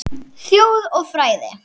Þjóð og fræði